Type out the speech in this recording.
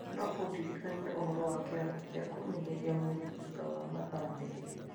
No ũndirikanie ũhoro wa kĩrathi kĩa kũmenyeria mwĩrĩ thutha wa mathaa merĩ?